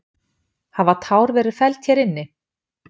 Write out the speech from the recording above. Hafa tár verið felld hér inni?